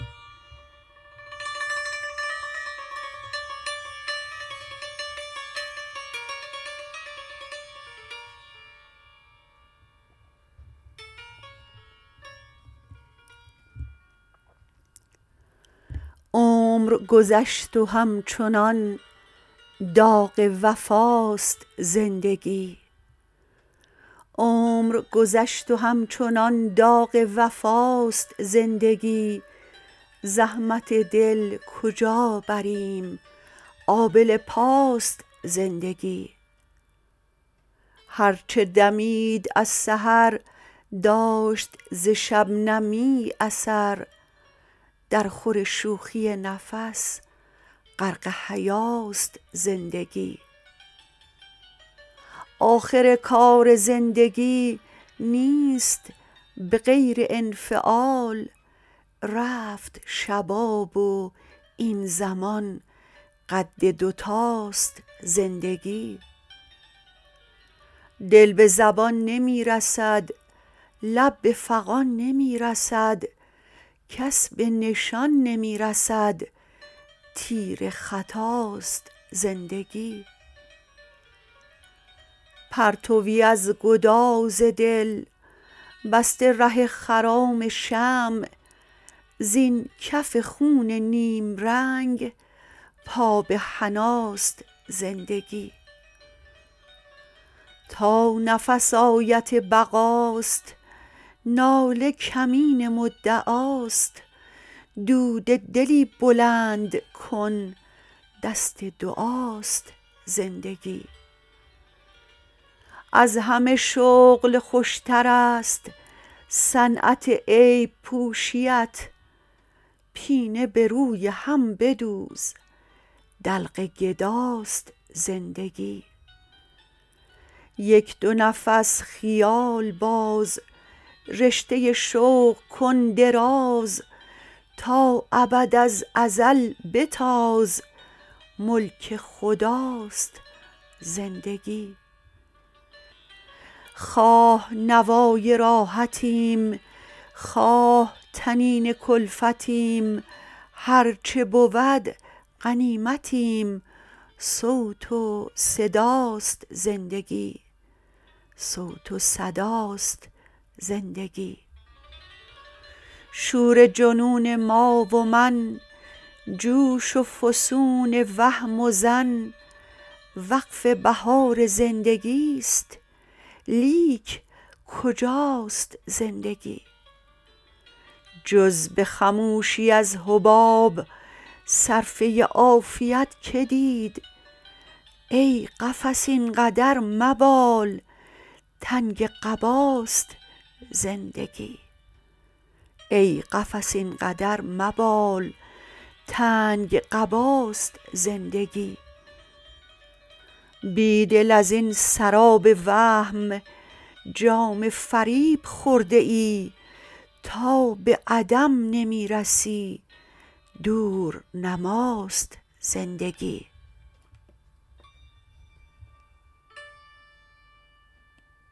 عمر گذشت و همچنان داغ وفاست زندگی زحمت دل کجا بریم آبله پاست زندگی هرچه دمید از سحر داشت ز شبنمی اثر درخور شوخی نفس غرق حیاست زندگی آخر کار زندگی نیست به غیر انفعال رفت شباب و این زمان قد دوتاست زندگی دل به زبان نمی رسد لب به فغان نمی رسد کس به نشان نمی رسد تیر خطاست زندگی پرتویی از گداز دل بسته ره خرام شمع زین کف خون نیمرنگ پا به حناست زندگی تا نفس آیت بقاست ناله کمین مدعاست دود دلی بلند کن دست دعاست زندگی از همه شغل خوشترست صنعت عیب پوشی ات پینه به روی هم بدوز دلق گداست زندگی یک دو نفس خیال باز رشته شوق کن دراز تا ابد از ازل بتاز ملک خداست زندگی خواه نوای راحتیم خواه طنین کلفتیم هرچه بود غنیمتیم صوت و صداست زندگی شور جنون ما و من جوش و فسون وهم و ظن وقف بهار زندگیست لیک کجاست زندگی جز به خموشی از حباب صر فه عافیت که دید ای قفس اینقدر مبال تنگ قباست زندگی بیدل ازین سراب وهم جام فریب خورده ای تا به عدم نمی رسی دورنماست زندگی